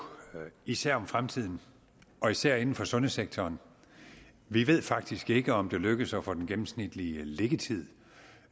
især om fremtiden og især inden for sundhedssektoren vi ved faktisk ikke om det lykkes at få den gennemsnitlige liggetid